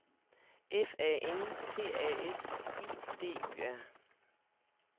F A N T A S I D Y R